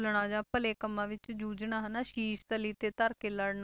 ~ਲਣਾ ਜਾਂ ਭਲੇ ਕੰਮਾਂ ਵਿੱਚ ਜੂਝਣਾ ਹਨਾ, ਸ਼ੀਸ਼ ਤਲੀ ਤੇ ਧਰ ਕੇ ਲੜਨਾ